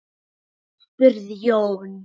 spurði Jón